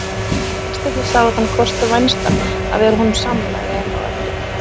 Gestirnir sáu þann kost vænstan að vera honum sammála í einu og öllu.